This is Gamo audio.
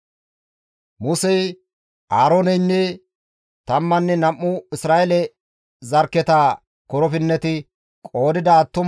Gido attiin hankko zarkketara Lewe zarkketi qoodettibeettenna.